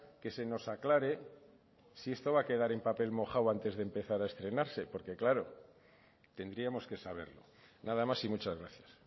que se nos aclare si esto va a quedar en papel mojado antes de empezar a estrenarse porque claro tendríamos que saberlo nada más y muchas gracias